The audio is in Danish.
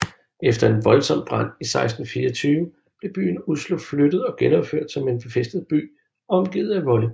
Efter en voldsomt brand i 1624 blev byen Oslo flyttet og genopført som en befæstet by omgivet af volde